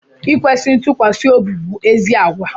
Ikwesi ntukwasiobi bụ ézì àgwà